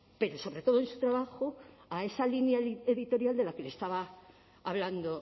pero sobre todo en su trabajo a esa línea editorial de la que le estaba hablando